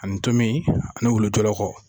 Ani tomi ani wolo jɔlɔkɔ.